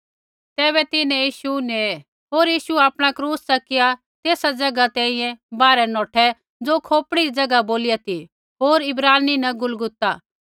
तैबै तिन्हैं यीशु नेये होर यीशु आपणा क्रूस च़किया तेस ज़ैगा तैंईंयैं बाहरै नौठै ज़ो खोपड़ी री ज़ैगा बोलिया ती होर इब्रानी न गुलगुता